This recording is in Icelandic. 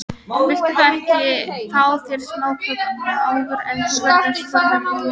Viltu þá ekki fá þér smáköku áður en þú ferð spurði hún.